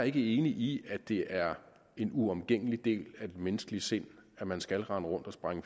ikke enig i at det er en uomgængelig del af det menneskelige sind at man skal rende rundt og sprænge